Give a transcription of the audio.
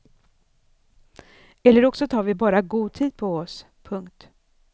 Eller också tar vi bara god tid på oss. punkt